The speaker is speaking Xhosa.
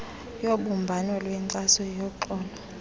yobumbano lwenkxaso yoxolo